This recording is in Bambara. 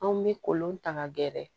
Anw bɛ kolon ta ka gɛrɛ